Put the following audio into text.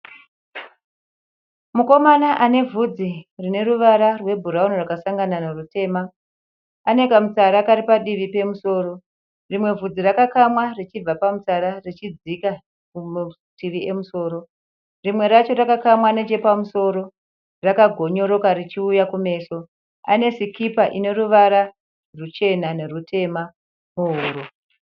Mukomana ane vhudzi rine ruvara rwebhurauni rwakasangana nerwutema. Ane kamutsara kari padivi pemusoro. Rimwe vhudzi rakakamwa richibva pamutsara richidzika kumativi emusoro. Rimwe racho rakakamwa nechapamusoro rakagonyoroka richiuya kumeso. Ane sikipa ine ruvara ruchena nerutema pahuro.